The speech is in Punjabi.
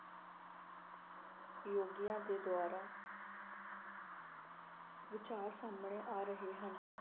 ਯੋਗੀਆਂ ਦੇ ਦੁਆਰਾ ਵਿਚਾਰ ਸਾਹਮਣੇ ਆ ਰਹੇ ਹਨ।